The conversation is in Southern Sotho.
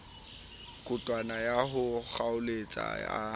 koduwa ya ho kgaoletswa a